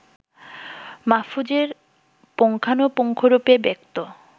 মাহফুজের পুঙ্খানুপুঙ্খরূপে ব্যক্ত